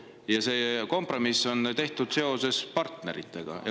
Ja see kompromiss on tehtud partnerite.